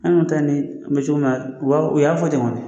An ta ni kun bɛ cogo min na u b'a fɔ u y'a fɔ ten kɔni